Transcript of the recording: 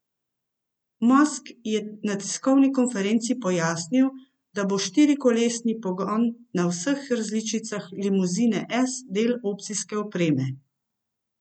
Musk je na tiskovni konferenci pojasnil, da bo štirikolesni pogon na vseh različicah limuzine S del opcijske opreme.